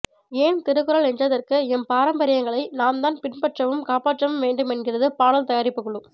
ஏன் திருக்குறள் என்றதற்கு எம் பாரம்பரியங்களை நாம் தான் பின்பற்றவும் காப்பாற்றவும் வேண்டும் என்கிறது பாடல் தயாரிப்புக்குழு